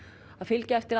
að fylgja eftir